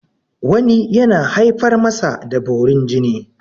wani yana haifar masa da borin jini